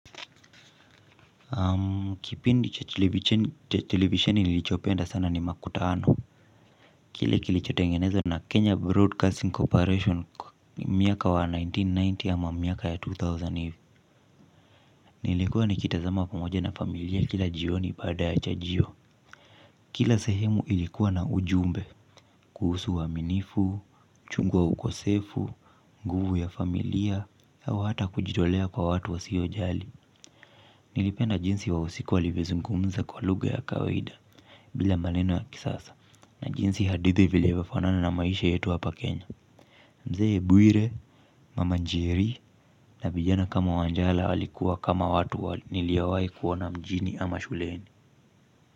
Kipindi cha televisioni nilichopenda sana ni makutano. Kile kilichotengenezo na Kenya Broadcasting Corporation miaka wa elfu moja na mia tisa na tisini ama miaka ya elfu mbili. Nilikuwa nikitazama pamoja na familia kila jioni pada ya cha jio. Kila sehemu ilikuwa na ujumbe kuhusu wa minifu, uchungu wa ukosefu, nguvu ya familia au hata kujidolea kwa watu wa siyo jali. Nilipenda jinsi wa wahusika walivyozungumza kwa luga ya kawaida bila maneno ya kisasa na jinsi hadithi vile imefanana na maisha yetu hapa Kenya Mzee Bwire, mama Njeri na vijana kama Wanjala walikuwa kama watu niliowahi kuona mjini ama shuleni.